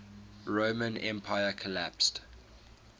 roman empire collapsed